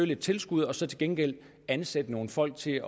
lille tilskud og så til gengæld ansætte nogle folk til